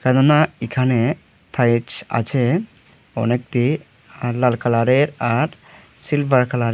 কেননা এখানে থাইচ আছে অনেকটি লাল কালারের আর সিলভার কালারে।